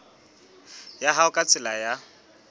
ya hao ka tsela ya